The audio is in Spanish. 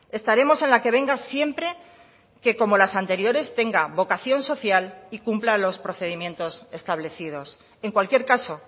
estaremos en la que venga siempre que como las anteriores tenga vocación social y cumpla los procedimientos establecidos en cualquier caso